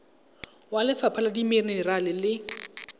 wa lefapha la dimenerale le